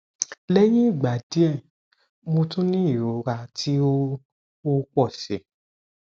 lẹhin igba diẹ mo tun ni irora ti o o pọ si